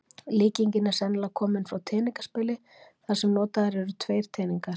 Líkingin er sennilegast komin frá teningaspili þar sem notaðir eru tveir teningar.